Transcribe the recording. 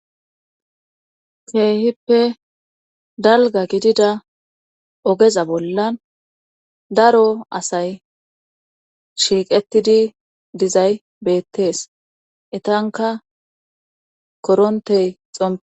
Keehippe dalga gidida ogeza bollan daro asay shiiqettidi dizay beettees etanka korontey xome.